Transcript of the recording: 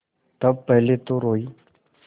तब पहले तो रोयी